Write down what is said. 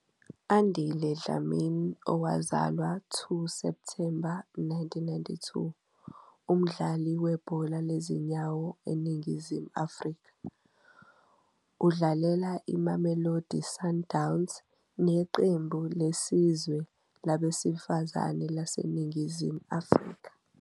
Andile Dlamini, owazalwa 2 Septhemba 1992, umdlali webhola lezinyawo eNingizimu Afrika. Udlalela iMamelodi Sundowns neqembu lesizwe labesifazane laseNingizimu Afrika.